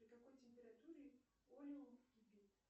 при какой температура олеум кипит